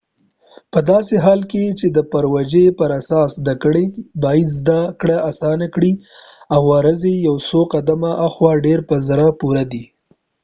پداسې حال کې چې د پروژې پراساس زده کړه باید زده کړه اسانه کړي او وزرې یو قدمه هاخوا ډیر په زړه پوری دي